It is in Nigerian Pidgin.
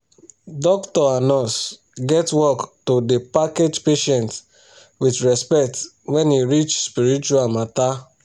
doctor and nurse get work to da package patient with respect wen e reach spiritual matter